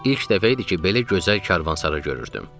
İlk dəfə idi ki, belə gözəl karvansara görürdüm.